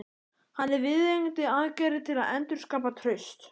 Hvað eru viðeigandi aðgerðir til að endurskapa traust?